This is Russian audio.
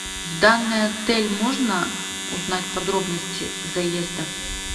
в данный отель можно узнать подробности заезда